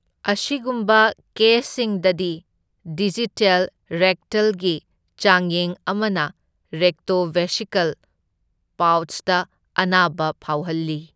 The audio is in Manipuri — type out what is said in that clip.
ꯑꯁꯤꯒꯨꯝꯕ ꯀꯦꯁꯁꯤꯡꯗꯗꯤ, ꯗꯤꯖꯤꯇꯦꯜ ꯔꯦꯛꯇꯜꯒꯤ ꯆꯥꯡꯌꯦꯡ ꯑꯃꯅ ꯔꯦꯛꯇꯣꯚꯦꯁꯤꯀꯜ ꯄꯥꯎꯆꯇ ꯑꯅꯥꯕ ꯐꯥꯎꯍꯜꯂꯤ꯫